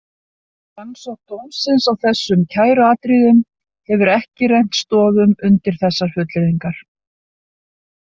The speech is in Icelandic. Rannsókn dómsins á þessum kæruatriðum hefur ekki rennt stoðum undir þessar fullyrðingar.